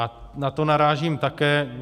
A na to narážím také.